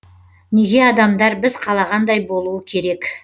неге адамдар біз қалағандай болуы керек